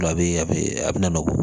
A bɛ a bɛ a bɛ na nugu